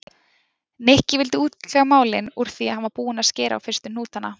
Nikki vildi útkljá málin úr því hann var búinn að skera á fyrstu hnútana.